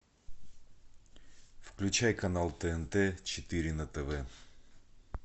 включай канал тнт четыре на тв